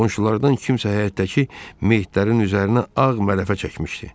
Qonşulardan kimsə həyətdəki meyidlərin üzərinə ağ mərafə çəkmişdi.